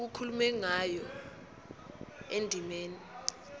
okukhulunywe ngayo endimeni